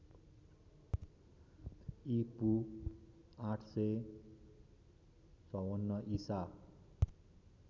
ईपू ८५४ ईसा